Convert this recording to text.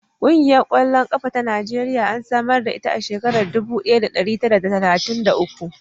Ƙungiyar ƙwallon ƙafa ta Najeriya an samar da ita a shekarar dubu ɗaya da ɗari tara d talatin da uku.